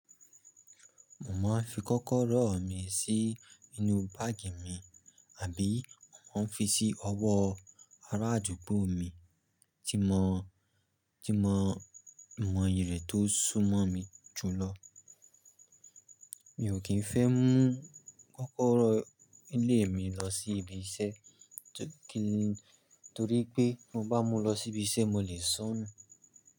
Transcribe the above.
Mo máa ń fi kọ́kọ́rọ́ mi sí inú báàgì mi, àbí mo máa ń fi sí ọwọ́ ará àdúgbò mi tí mo, tí mo mọ iyì rẹ̀ tó sún mọ́ mi jù lọ. Mi ò kín fẹ́ mú kọ́kọ́rọ́ ilé mi lọ sí ibi iṣẹ́, torí pé mo bá mú lọ sí ibi iṣẹ́ mo lè sonu.